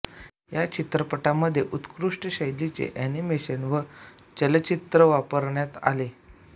या चित्रपटामध्ये उत्कृष्ट शैलीचे एनिमेशन व चलचित्र वापरण्यात आले